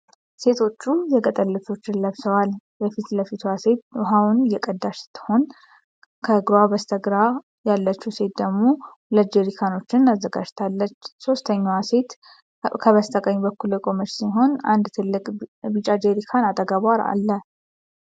ሴቶቹ የገጠር ልብሶችን ለብሰዋል። የፊት ለፊትዋ ሴት ውሃውን እየቀዳች ስትሆን፣ ከእርሷ በስተግራ ያለችው ሴት ደግሞ ሁለት ጀሪካኖች አዘጋጅታለች። ሦስተኛዋ ሴት ከበስተቀኝ በኩል የቆመች ሲሆን፣ አንድ ትልቅ ቢጫ ጀሪካን አጠገቧ አለ።